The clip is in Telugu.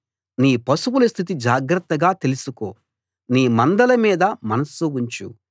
నీ పశువుల స్థితి జాగ్రత్తగా తెలిసుకో నీ మందల మీద మనస్సు ఉంచు